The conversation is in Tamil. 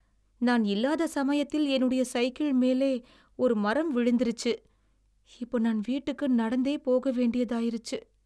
நான் இல்லாத சமயத்தில என்னுடைய சைக்கிள் மேலே ஒரு மரம் விழுந்திருச்சு. இப்ப நான் வீட்டுக்கு நடந்தே போக வேண்டியதாயிருச்சு.